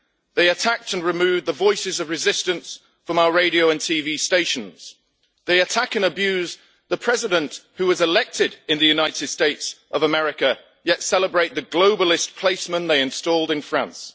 they attacked and removed the voices of resistance from our radio and TV stations. They attack and abuse the President who was elected in the United States of America, yet celebrate the globalist placeman they installed in France.